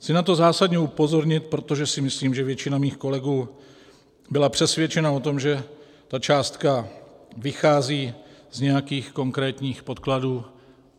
Chci na to zásadně upozornit, protože si myslím, že většina mých kolegů byla přesvědčena o tom, že ta částka vychází z nějakých konkrétních podkladů.